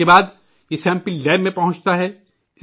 اسکے بعد یہ سمپل لیب میں پہنچتا ہے